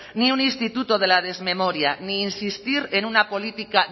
ni un instituto de la desmemoria ni insistir en una política